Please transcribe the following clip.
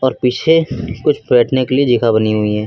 और पीछे कुछ बैठने के लिए जगह बनी हुई है।